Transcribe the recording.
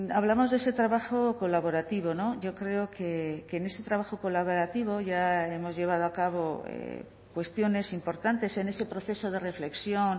hablamos de ese trabajo colaborativo yo creo que en ese trabajo colaborativo ya hemos llevado a cabo cuestiones importantes en ese proceso de reflexión